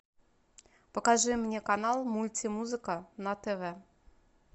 покажи мне канал мультимузыка на тв